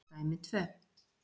Dæmi tvö.